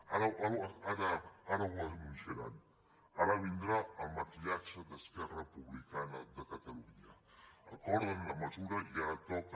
ara ho anunciaran ara vindrà el maquillatge d’esquerra republicana de catalunya acorden la mesura i ara toca